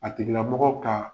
A tigila mɔgɔ kaa